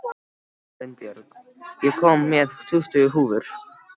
Arinbjörg, ég kom með tuttugu húfur!